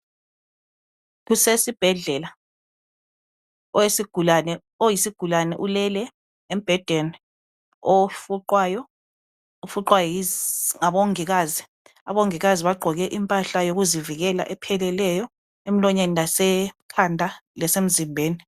Kusesibhedlela, oyisigulane, ulele embhedeni, ofuqwayo. Ufuqwa yizi, ngabongikazi. Obongikazi bagqoke impahla yokuzivikela., epheleleyo. Emlonyeni lasekhanda, lasemzimbeni.